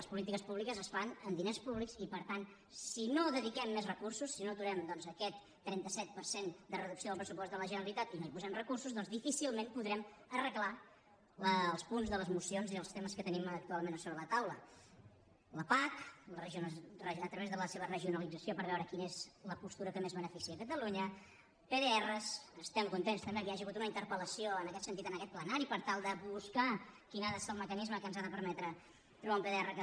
les polítiques públiques es fan amb diners públics i per tant si no hi dediquem més recursos si no aturem aquest trenta set per cent de reducció del pressupost de la generalitat i no hi posem recursos doncs difícilment podrem arreglar els punts de les mocions i els temes que tenim actualment sobre la taula la pac a través de la seva regionalització per veure quina és la postura que més beneficia catalunya pdr estem contents també que hi hagi hagut una interpel·lació en aquest sentit en aquest plenari per tal de buscar quin ha de ser el mecanisme que ens ha de permetre trobar un pdr que